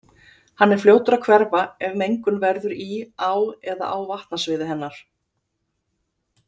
Hann er fljótur að hverfa ef mengun verður í á eða á vatnasviði hennar.